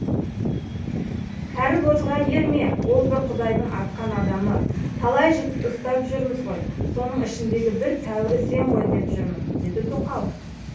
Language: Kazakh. кәрібозға ерме ол бір құдайдың атқан адамы талай жігіт ұстап жүрміз ғой соның ішіндегі бір тәуірі сен ғой деп жүрмін деді тоқал